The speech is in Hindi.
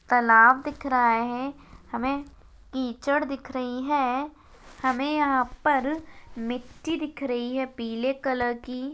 तलाव दिख रहा हैं हमे कीचड़ दिख रही हैं हमे यहाँ पर मिट्टी दिख रही हैं पिले कलर की।